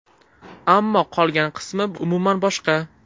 Ammo qolgan qismi umuman boshqa.